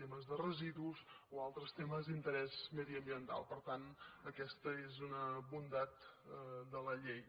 temes de residus o altres temes d’interès mediambiental per tant aquesta és una bondat de la llei